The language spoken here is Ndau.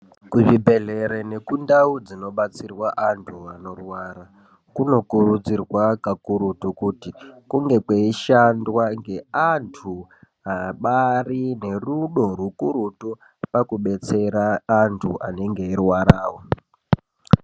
Kuzvibhedhlere nekundau dzinobetserwa antu anorwara kunokurudzirwa kakurutu kuti kunge kweishandwa ngeantu abari nerudo rukurutu pakubetsera antu anonge eirwara.